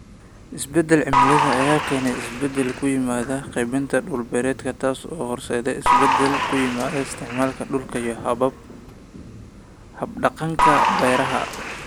Isbeddelka cimilada ayaa keenaya isbeddel ku yimaada qaybinta dhul-beereedka, taasoo horseedaysa isbeddel ku yimi isticmaalka dhulka iyo hab-dhaqanka beeraha.